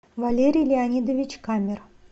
валерий леонидович камер